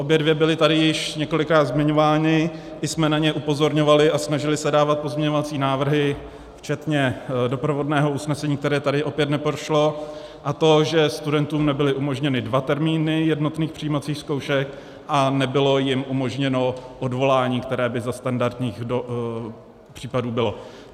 Obě dvě byly tady již několikrát zmiňovány, i jsme na ně upozorňovali a snažili se dávat pozměňovací návrhy včetně doprovodného usnesení, které tady opět neprošlo, a to že studentům nebyly umožněny dva termíny jednotných přijímacích zkoušek a nebylo jim umožněno odvolání, které by za standardních případů bylo.